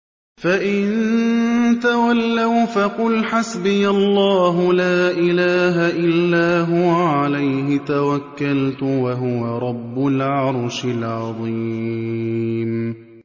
فَإِن تَوَلَّوْا فَقُلْ حَسْبِيَ اللَّهُ لَا إِلَٰهَ إِلَّا هُوَ ۖ عَلَيْهِ تَوَكَّلْتُ ۖ وَهُوَ رَبُّ الْعَرْشِ الْعَظِيمِ